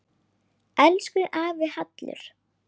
Elsku afi Hallur.